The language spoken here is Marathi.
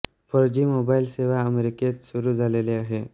फोर जी मोबाईल सेवा अमेरिकेत सुरू झालेली आहे